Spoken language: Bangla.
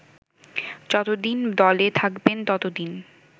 যতদিন দলে থাকবেন ততদিন